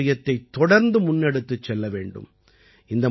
இந்தப் பாரம்பரியத்தைத் தொடர்ந்து முன்னெடுத்துச் செல்ல வேண்டும்